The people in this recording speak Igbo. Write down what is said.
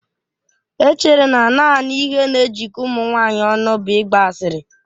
E chere na naanị ihe na-ejikọ ụmụ nwanyị ọnụ bụ ịgba asịrị